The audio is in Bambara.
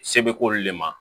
Se bɛ k'olu le ma